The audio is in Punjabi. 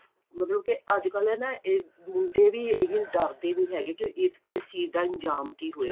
ਮਤਲਬ ਕੇ ਅੱਜਕਲ ਨਾ ਇਹ ਮੁੰਡੇ ਵੀ ਇਹੀ ਡਰਦੇ ਨਹੀਂ ਹੈਗੇ ਕਿ ਇਸ ਚੀਜ ਦਾ ਇੰਜ਼ਾਮ ਕਿ ਹੋਏਗਾ